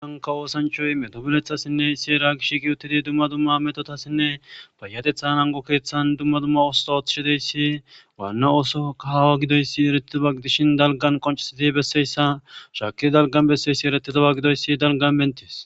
Ahanka oosanchoy medobulethassinne iseera gish giyuttidi dumma dumma metotasinne payatetha ango keeththan dumma dumma oososo ooththishideyssi waanna oosoka hawa gidoyssi eretidomagidishin dalgan qonchisiti besseyssa shaki dalgan besseyssi eretidowa gidoyssi dalgan menties